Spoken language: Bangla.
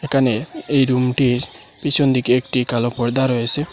এখানে এই রুমটির পিছন দিকে একটি কালো পর্দা রয়েসে।